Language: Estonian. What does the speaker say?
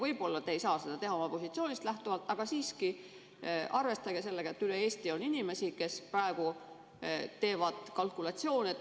Võib-olla te ei saa seda teha oma positsioonist lähtuvalt, aga siiski arvestage sellega, et üle Eesti on inimesi, kes praegu teevad kalkulatsioone.